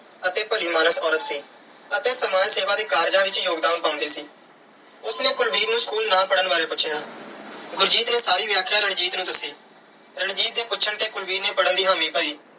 ਅਤੇ ਭਲੀ ਮਾਨਸ ਔਰਤ ਸੀ ਅਤੇ ਸਮਾਜ ਸੇਵਾ ਦੇ ਕਾਰਜਾਂ ਵਿੱਚ ਯੋਗਦਾਨ ਪਾਉਂਦੀ ਸੀ। ਉਸ ਨੇ ਕੁਲਵੀਰ ਨੂੰ school ਨਾ ਪੜ੍ਹਨ ਬਾਰੇ ਪੁੱਛਿਆ। ਗੁਰਜੀਤ ਨੇ ਸਾਰੀ ਵਿਆਖਿਆ ਰਣਜੀਤ ਨੂੰ ਦੱਸੀ। ਰਣਜੀਤ ਦੇ ਪੁੱਛਣ ਤੇ ਕੁਲਵੀਰ ਨੇ ਪੜ੍ਹਨ ਦੀ ਹਾਮੀ ਭਰੀ।